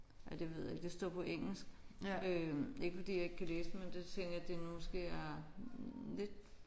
Ej det ved jeg ikke det står på engelsk. Øh ikke fordi jeg ikke kan læse det men det tænker jeg det måske er lidt